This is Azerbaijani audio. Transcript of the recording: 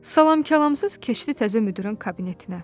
Salam-kəlamsız keçdi təzə müdirin kabinetinə.